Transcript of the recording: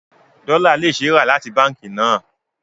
Dollar can be bought from the bank